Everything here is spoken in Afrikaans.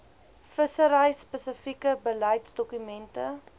vissery spesifieke beleidsdokumente